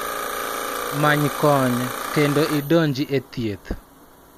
Many kony, kendo idonji e thieth